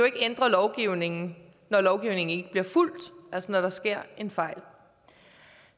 ikke ændre lovgivningen når lovgivningen ikke bliver fulgt altså når der sker en fejl